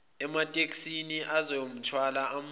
ematekisini ayezomthwala amuse